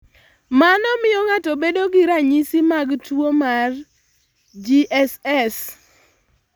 Mano miyo ng'ato bedo gi ranyisi mag tuwo mar GSS.